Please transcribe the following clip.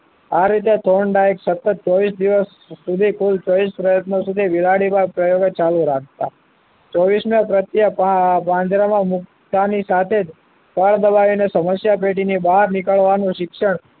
આ રીતે ત્રણ ડાઈક સતત ચોવીશ દિવસ કુલે કુલ ચોવીશ પ્રયત્નો સુધી બિલાડીના પ્રયોગો ચાલુ રાખ્તા ચોવીશ માં પ્રત્યે પાંજરામાં મુકતા ની સાથે જ કળ દબાવીને સમસ્યા પેટીની બહાર નીકળવાનું શિક્ષણ